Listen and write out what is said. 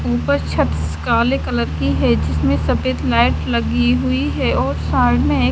ऊपर छत काले कलर की है जिसमे सफ़ेद लाइट लगी हुई है और साइड में एक --